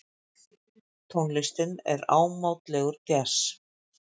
Tónlistin er ámátlegur djass.